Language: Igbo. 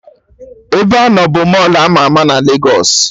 Ebeanọ bụ Mọlụ ama ama na Legos